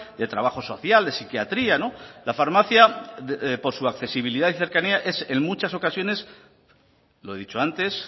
de trabajo social de psiquiatría la farmacia por su accesibilidad y cercanía es en muchas ocasiones lo he dicho antes